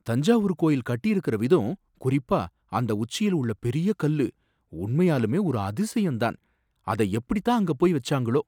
தஞ்சாவூர் கோயில் கட்டியிருக்கிற விதம், குறிப்பா அந்த உச்சியில உள்ள பெரிய கல்லு, உண்மையாலுமே ஒரு அதிசயம் தான்! அத எப்படித்தான் அங்க போய் வச்சாங்களோ!